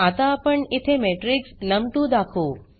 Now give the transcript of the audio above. आता इथे आपण मॅट्रिक्स num2दाखवू